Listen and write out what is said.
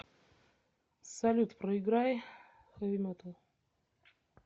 салют проиграй хэви метал